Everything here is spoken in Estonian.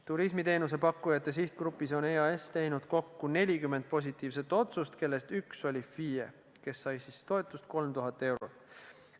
Turismiteenuse pakkujate sihtgrupis on EAS teinud kokku 40 positiivset otsust, kellest üks oli FIE, kes sai toetust 3000 eurot.